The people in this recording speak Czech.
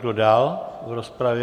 Kdo dál v rozpravě?